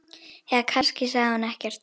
Eða kannski sagði hún ekkert.